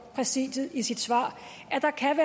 præsidiet i sit svar at der kan